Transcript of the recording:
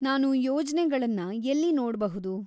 ನಾನು ಯೋಜ್ನೆಗಳನ್ನ ಎಲ್ಲಿ ನೋಡ್ಬಹುದು?